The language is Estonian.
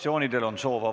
Kohtumiseni homme!